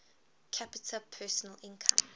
capita personal income